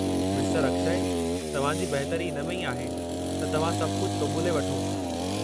मिस्टरु अक्षय, तव्हां जी बहितरी इन में ई आहे त तव्हां सभु कुझु क़ुबूले वठो।